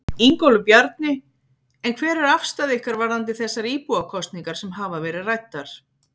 Ingólfur Bjarni: En hver er afstaða ykkar varðandi þessar íbúakosningar sem hafa verið ræddar?